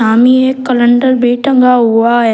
एक कलंडर भी टंगा हुआ है।